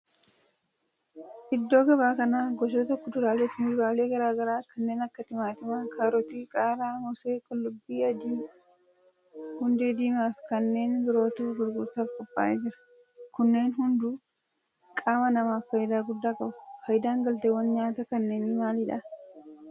Iddoo gabaa kana gosoota kuduraalee fi muduraalee garaa garaa kanneen akka timaatima, kaarotii, qaaraa, moosee, qullubbii adii, hundee diimaa fi kanneen birootu gurgurtaaf qophaa'ee jira. kunneen hundu qaama namaaf faayidaa guddaa qabu. faayidaan galteewwan nyaataa kanneenii maalidha?